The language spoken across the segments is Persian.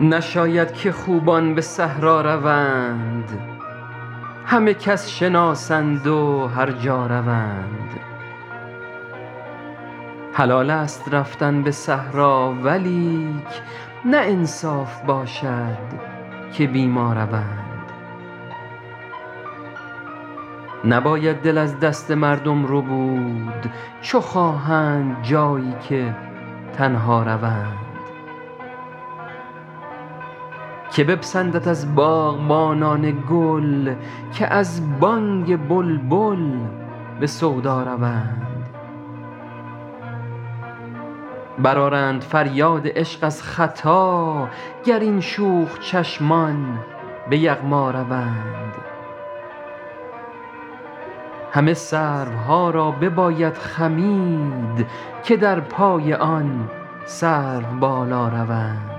نشاید که خوبان به صحرا روند همه کس شناسند و هر جا روند حلالست رفتن به صحرا ولیک نه انصاف باشد که بی ما روند نباید دل از دست مردم ربود چو خواهند جایی که تنها روند که بپسندد از باغبانان گل که از بانگ بلبل به سودا روند برآرند فریاد عشق از ختا گر این شوخ چشمان به یغما روند همه سروها را بباید خمید که در پای آن سروبالا روند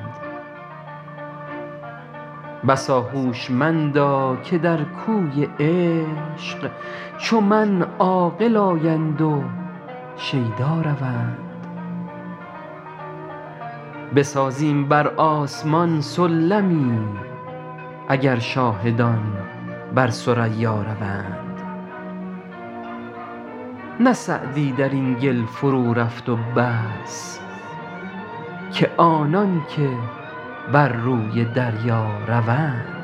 بسا هوشمندا که در کوی عشق چو من عاقل آیند و شیدا روند بسازیم بر آسمان سلمی اگر شاهدان بر ثریا روند نه سعدی در این گل فرورفت و بس که آنان که بر روی دریا روند